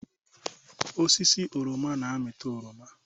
Osisi oroma na-amịta oroma